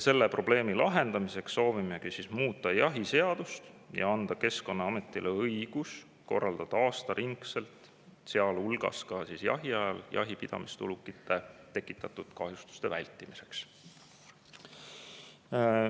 Selle probleemi lahendamiseks soovimegi muuta jahiseadust ja anda Keskkonnaametile õiguse korraldada aastaringselt, sealhulgas jahiajal, jahipidamist ulukite tekitatud kahjustuste vältimiseks.